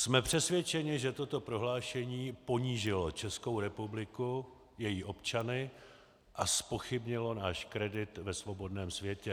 Jsme přesvědčeni, že toto prohlášení ponížilo Českou republiku, její občany a zpochybnilo náš kredit ve svobodném světě.